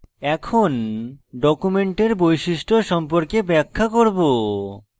এখন document বৈশিষ্ট্য সম্পর্কে ব্যাখ্যা করব